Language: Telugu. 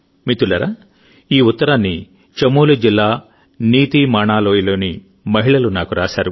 మిత్రులారాఈ ఉత్తరాన్ని చమోలి జిల్లా నీతీ మాణా లోయలోని మహిళలు నాకు రాశారు